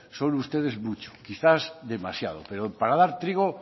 son ustedes mucho quizás demasiado pero para dar trigo